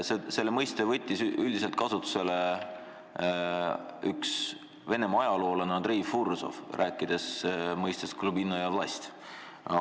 Selle mõiste võttis kasutusele Venemaa ajaloolane Andrei Fursov, rääkides mõistest glubinnaja vlast.